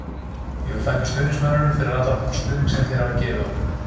Ég vil þakka stuðningsmönnunum fyrir allan þann stuðning sem þeir hafa gefið okkur.